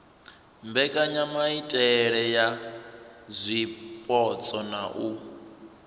mbekanyamaitele ya zwipotso na u